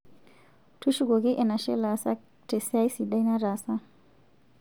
Tushukoki enashe lasak te siai sidai nataasa